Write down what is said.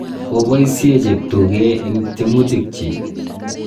ko boisie cheptuge eng' tyemutik chich